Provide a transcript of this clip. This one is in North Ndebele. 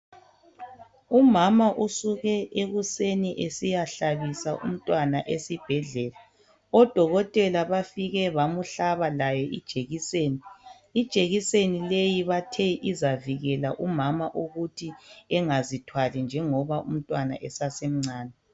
Umama usuke ekuseni esiyahlabisa umntwana esibhedlela odokotela bafike bamhlaba laye ijekiseni, ijekiseni leyi bathe izavikela umama ukuthi engazithwali njengoba umntwana esasemncane.